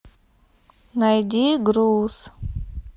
найди груз